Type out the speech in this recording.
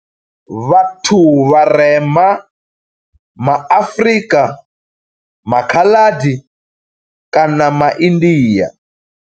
Vhathu vharema ma Afrika, ma Khaladi kana ma India.